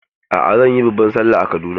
A'a, zan yi babban Sallah a Kaduna.